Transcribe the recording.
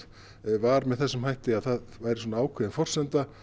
var með þessum hætti að það væri ákveðin forsenda